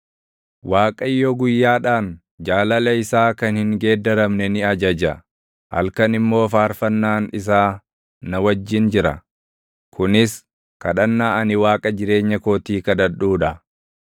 Waaqayyo guyyaadhaan jaalala isaa kan hin geeddaramne ni ajaja; halkan immoo faarfannaan isaa na wajjin jira; kunis kadhannaa ani Waaqa jireenya kootii kadhadhuu dha.